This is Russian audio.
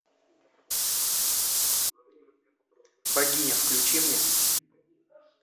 богиня включи мне